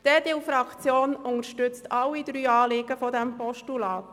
Die EDU-Fraktion unterstützt alle drei Anliegen dieses Postulats.